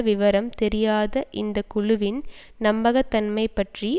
விவரம் தெரியாத இந்த குழுவின் நம்பகத்தன்மை பற்றி